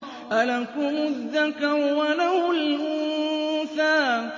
أَلَكُمُ الذَّكَرُ وَلَهُ الْأُنثَىٰ